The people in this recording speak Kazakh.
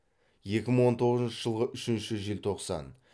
екі мың он тоғызыншы жылғы үшінші желтоқсан